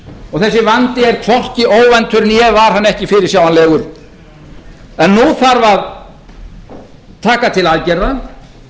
og þessi vandi er hvorki óvæntur né var hann ekki fyrirsjáanlegur en nú þarf að taka til aðgerða